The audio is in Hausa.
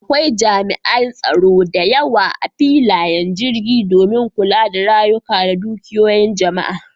Akwai jami'an tsaro da yawa a filayen jirgi domin kula da rayuka da dukiyoyin jama'a.